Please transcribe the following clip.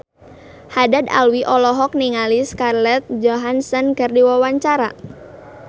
Haddad Alwi olohok ningali Scarlett Johansson keur diwawancara